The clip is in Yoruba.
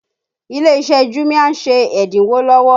Ilé iṣẹ́ jumia ń ṣe ẹ́dínwó lọ́wọ́